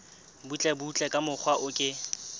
butlebutle ka mokgwa o ke